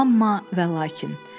Amma və lakin.